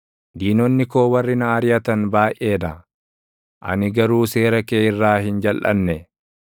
Diinonni koo warri na ariʼatan baayʼee dha; ani garuu seera kee irraa hin jalʼanne.